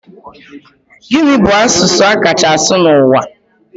Gini bu asụsụ a kacha asụ n'ụwa?